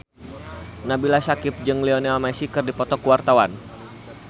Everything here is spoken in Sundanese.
Nabila Syakieb jeung Lionel Messi keur dipoto ku wartawan